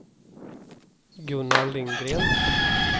Gunnar Lindgren